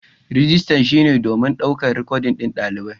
Rijistar shine don ɗaukar rikodin ɗalibai.